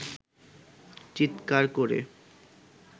চিৎকার করে